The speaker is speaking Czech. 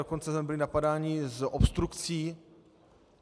Dokonce jsme byli napadáni z obstrukcí.